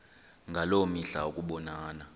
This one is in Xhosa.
ngaloo mihla ukubonana